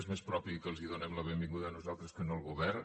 és més propi que els donem la benvinguda nosaltres que no el govern